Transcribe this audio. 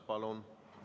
Palun!